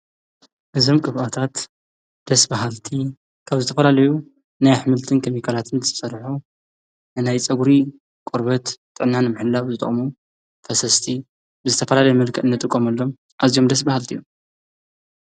እዘም ቅባኣታት ደስ በሃልቲ ካብ ዝተፈላለዩ ናይ ኣኅምልትን ከሚካላትን ዝጸድዑ እናይ ፀጕሪ ቖርበት ጥናን ምሕላብ ዝተሙ ፈሰስቲ ብዝተፈላለይ መልከጥነጥ ቖምሎም ኣዚም ደስ በሃልቲ እዮም።